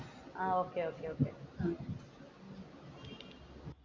ah okay okay okay